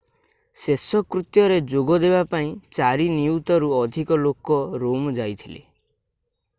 ଶେଷକୃତ୍ୟରେ ଯୋଗ ଦେବାପାଇଁ 4 ନିୟୁତରୁ ଅଧିକ ଲୋକ ରୋମ ଯାଇଥିଲେ